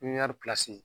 Pipiniyɛri pilasi